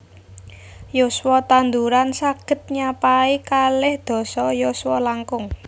Yuswa tanduran saghed nyapai kalih dasa yuswa langkung